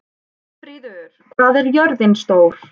Gunnfríður, hvað er jörðin stór?